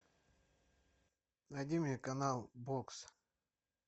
найди мне канал бокс